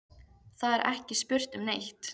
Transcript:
Það er ekki spurt um neitt.